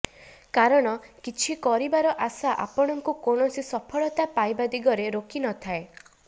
କାରଣ କିଛି କରିବାର ଆଶା ଆପଣଙ୍କୁ କୈାଣସି ସଫଳତା ପାଇବା ଦିଗରେ ରୋକିନଥାଏ